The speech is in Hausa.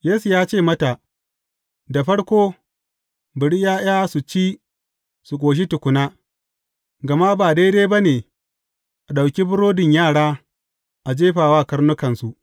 Yesu ya ce mata, Da farko, bari ’ya’ya su ci su ƙoshi tukuna, gama ba daidai ba ne, a ɗauki burodin yara a jefa wa karnukansu.